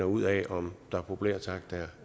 ud af om der populært sagt